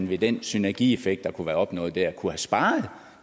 ved den synergieffekt der kunne have været opnået der kunne sparet